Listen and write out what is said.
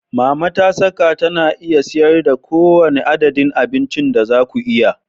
Mama ta saka tana iya siyar da kowane adadin abincin da za ku iya.